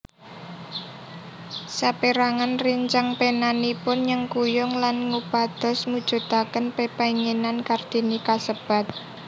Sapérangan réncang penanipun nyengkuyung lan ngupados mujudaken pepénginan Kartini kasebat